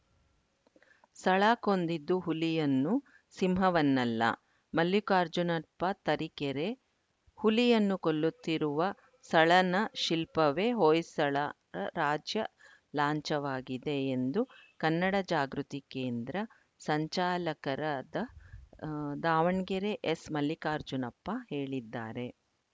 ಸಳ ಕೊಂದಿದ್ದು ಹುಲಿಯನ್ನು ಸಿಂಹವನ್ನಲ್ಲ ಮಲ್ಲಿಕಾರ್ಜುನಪ್ಪ ತರೀಕೆರೆ ಹುಲಿಯನ್ನು ಕೊಲ್ಲುತ್ತಿರುವ ಸಳನ ಶಿಲ್ಪವೇ ಹೊಯ್ಸಳ ರಾಜ್ಯ ಲಾಂಛವಾಗಿದೆ ಎಂದು ಕನ್ನಡ ಜಾಗೃತಿ ಕೇಂದ್ರ ಸಂಚಾಲಕರಾದ ಆ ದಾವಣಗೆರೆ ಎಸ್‌ಮಲ್ಲಿಕಾರ್ಜುನಪ್ಪ ಹೇಳಿದ್ದಾರೆ